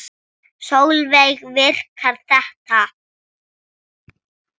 Sólveig: Virkar þetta?